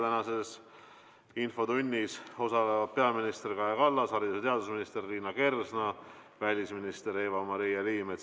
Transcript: Tänases infotunnis osalevad peaminister Kaja Kallas, haridus- ja teadusminister Liina Kersna ja välisminister Eva-Maria Liimets.